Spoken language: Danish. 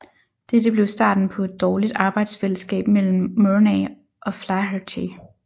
Dette blev starten på et dårligt arbejdsfælleskab mellem Murnay og Flaherty